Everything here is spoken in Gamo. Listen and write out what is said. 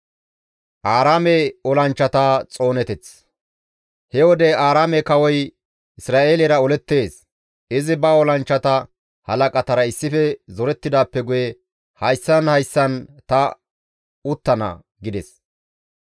He wode Aaraame kawoy Isra7eelera olettees; izi ba olanchchata halaqatara issife zorettidaappe guye, «Hayssan hayssan ta uttana» gides.